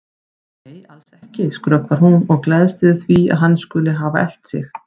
Nei, alls ekki, skrökvar hún og gleðst yfir því að hann skuli hafa elt sig.